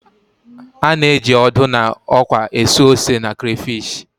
A na-eji ọdụ na ọkwa esu ose na crayfish